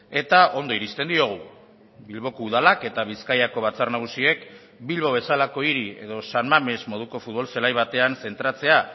eta ondo iristen diogu bilboko udalak eta bizkaiko batzar nagusiek bilbo bezalako hiri edo san mamés moduko futbol zelai batean zentratzea